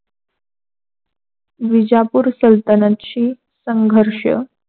विजापूर सल्तानातची संघर्ष